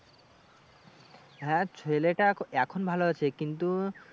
হ্যাঁ ছেলেটা এ এখন ভালো আছে কিন্তু